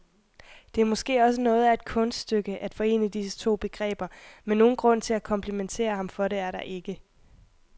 Det er måske også noget af et kunststykke at forene disse to begreber, men nogen grund til at komplimentere ham for det er der ikke.